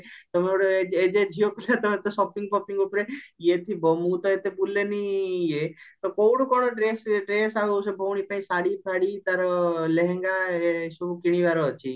ତମେ ଗୋଟେ ଏଯାଏ ଝିଅ ପିଲା ତମେ ତ shopping ଫପିଙ୍ଗ ଉପରେ ଇଏ ଥିବା ମୁଁ ତ ଏତେ ବୁଲେନି ଇଏ ତ କଉଠୁ କଣ ଡ୍ରେସ ଡ୍ରେସ ଆଉ ସେ ଭଉଣୀ ପାଇଁ ଶାଢୀ ଫାଡି ଆଉ ତାର ଲେହେଙ୍ଗା ଏସବୁ କିଣିବାର ଅଛି